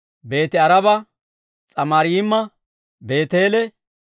Beeti-Aaraba, S'amarayma, Beeteele,